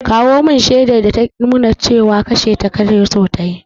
Kawo mun shaidar ta ta nuna cewa kashe ka ta so yi!